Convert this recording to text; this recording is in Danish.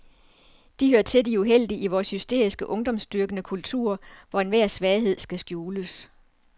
De hører til de heldige i vores hysteriske ungdomsdyrkende kultur, hvor enhver svaghed skal skjules.